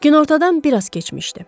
Günortadan biraz keçmişdi.